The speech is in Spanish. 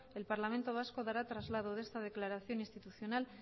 el parlamento vasco dará traslado de esta declaración institucional